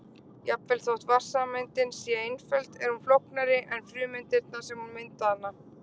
jafnvel þótt vatnssameindin sé einföld er hún flóknari en frumeindirnar sem mynda hana